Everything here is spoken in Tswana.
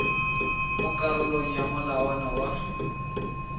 mo karolong ya molawana wa